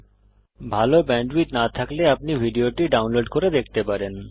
যদি ভাল ব্যান্ডউইডথ না থাকে তাহলে আপনি ভিডিওটি ডাউনলোড করে দেখতে পারেন